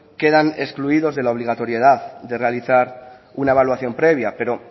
quedan excluidos de la obligatoriedad de realizar una evaluación previa pero